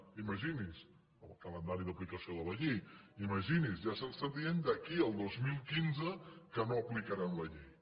imagini’s el calendari d’aplicació de la llei ja ens estan dient d’aquí al dos mil quinze que no aplicaran la llei